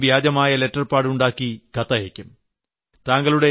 ഏതെങ്കിലും വ്യാജമായ letter pad ഉണ്ടാക്കി കത്തയക്കും